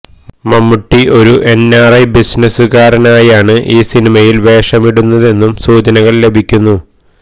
മമ്മൂട്ടി ഒരു N R I ബിസിനസുകാരനായാണ് ഈ സിനിമയില് വേഷമിടുന്നതെന്നും സൂചനകള് ലഭിക്കുന്നു